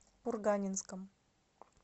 курганинском